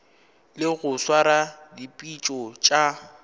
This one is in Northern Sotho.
le go swara dipitšo tša